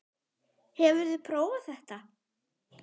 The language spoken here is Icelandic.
Hefurðu prófað þetta?